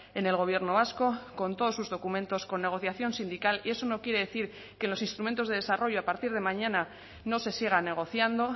en el gobierno vasco con todos sus documentos con negociación sindical y eso no quiere decir que los instrumentos de desarrollo a partir de mañana no se siga negociando